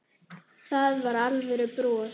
Það var alvöru bros.